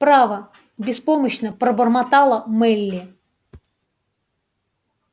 право беспомощно пробормотала мелли